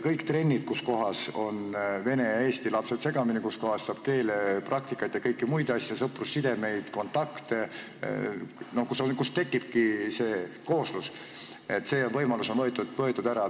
Trennis, kus on vene ja eesti lapsed segamini, seal saab keelepraktikat ja kõike muud, luuakse sõprussidemeid ja kontakte ning tekibki see kooslus – see võimalus on ära võetud.